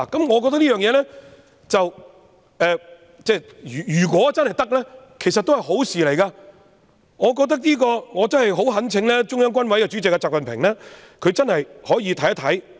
我覺得這樣做，如果真的可行，其實也是好事，我懇請中央軍委主席習近平認真看看。